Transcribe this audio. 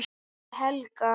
Ég heiti Helga!